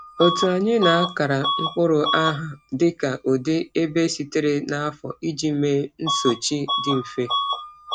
Otu anyị na-akara mkpụrụ aha dịka ụdị, ebe sitere, na afọ iji mee nsochi dị mfe.